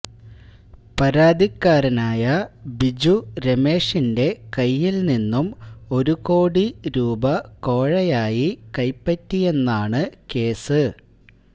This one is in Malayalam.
പരതികാരനായ ബിജു രമേഷിന്റെ കയ്യില് നിന്നും ഒരു ഒരു കോടി രൂപ കോഴയായി കൈപറ്റിയെന്നാണ് കേസ്